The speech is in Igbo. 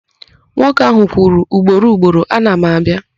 Nwoke ahụ kwuru ugboro ugboro, "ana m abịa".